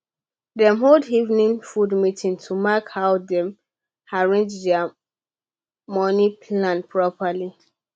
dem hold evening food meeting to mark how dem arrange their money plan properly